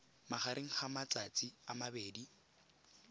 magareng ga matsatsi a mabedi